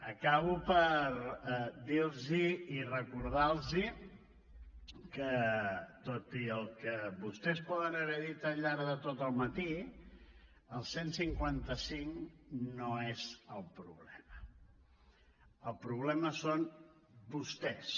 acabo per dir los i recordar los que tot i el que vostès poden haver dit al llarg de tot el matí el cent i cinquanta cinc no és el problema el problema són vostès